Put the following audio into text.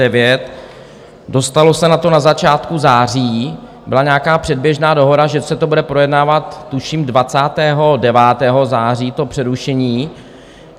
Dostalo se na to na začátku září, byla nějaká předběžná dohoda, že se to bude projednávat tuším 29. září, to přerušení.